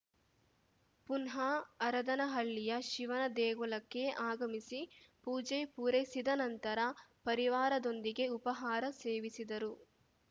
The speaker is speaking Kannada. ಪುನಃ ಹರದನಹಳ್ಳಿಯ ಶಿವನ ದೇಗುಲಕ್ಕೆ ಆಗಮಿಸಿ ಪೂಜೆ ಪೂರೈಸಿದ ನಂತರ ಪರಿವಾರದೊಂದಿಗೆ ಉಪಹಾರ ಸೇವಿಸಿದರು